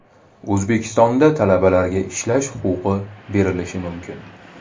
O‘zbekistonda talabalarga ishlash huquqi berilishi mumkin.